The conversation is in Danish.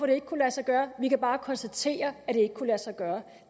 det ikke kunne lade sig gøre vi kan bare konstatere at det ikke kunne lade sig gøre